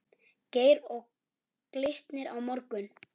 Geir Og Glitnir á morgun?